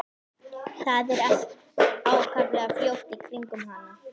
Það er allt ákaflega hljótt í kringum hana.